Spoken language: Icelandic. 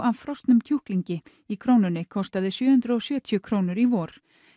af frosnum kjúklingi í Krónunni kostaði sjö hundruð og sjötíu krónur í vor